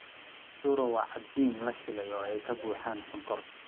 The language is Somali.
Churro waa cajiin la shiilay oo ay ka buuxaan sonkor.